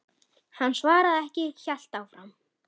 Hann svaraði ekki, hélt áfram.